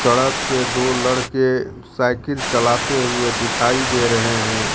सड़क पे दो लड़के साइकिल चलाते हुए दिखाई दे रहे हैं।